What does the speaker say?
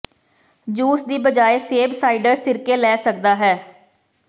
juice ਦੀ ਬਜਾਏ ਸੇਬ ਸਾਈਡਰ ਸਿਰਕੇ ਲੈ ਸਕਦਾ ਹੈ